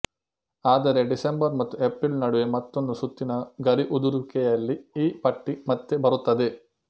ಆದರೆ ಡಿಸೆಂಬರ್ ಮತ್ತು ಎಪ್ರಿಲ್ ನಡುವೆ ಮತ್ತೊಂದು ಸುತ್ತಿನ ಗರಿ ಉದುರುವಿಕೆಯಲ್ಲಿ ಈ ಪಟ್ಟಿ ಮತ್ತೆ ಬರುತ್ತದೆ